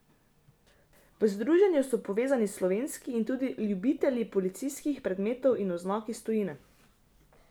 V združenju so povezani slovenski in tudi ljubitelji policijskih predmetov in oznak iz tujine.